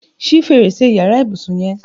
Ṣi férésé iyàrá ibùsìn yèn